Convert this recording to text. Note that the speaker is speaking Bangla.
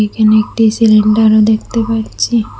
এখানে একটি সিলিন্ডারও দেখতে পাচ্ছি।